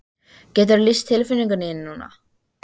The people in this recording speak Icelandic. Geturðu lýst tilfinningum þínum núna?